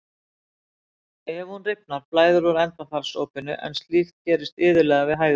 Ef hún rifnar blæðir úr endaþarmsopinu en slíkt gerist iðulega við hægðir.